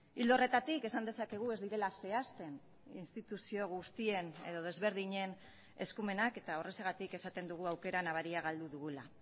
ildo horretatik esan dezakegu ez direla zehazten instituzio guztien edo desberdinen eskumenak eta horrexegatik esaten dugu aukera nabaria galdu dugula